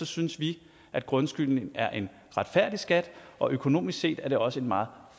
synes vi at grundskylden er en retfærdig skat og økonomisk set er det også en meget